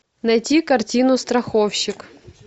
найти картину страховщик